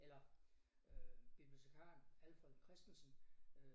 Eller øh bibliotekaren Alfred Christensen